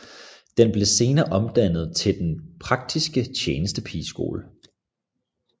Den blev senere omdannet til Den Praktiske Tjenestepigeskole